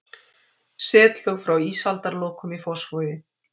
Setlög frá ísaldarlokum í Fossvogi.